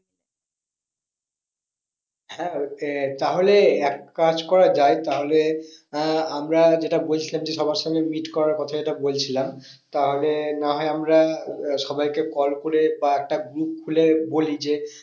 হ্যাঁ সে তাহলে এক কাজ করা যায় তাহলে আহ আমরা যেটা বলছিলাম যে সবার সঙ্গে meet করার কথা যেটা বলছিলাম। তাহলে না হয় আমরা আহ সবাইকে call করে বা একটা group খুলে বলি যে